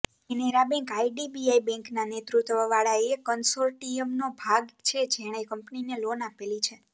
Canara bank IDBI બેંકના નેતૃત્વ વાળા એ કંસોર્ટિયમનો ભાગ છે જેણે કંપનીને લોન આપેલી છે